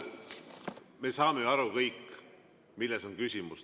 Me saame ju aru kõik, milles on küsimus.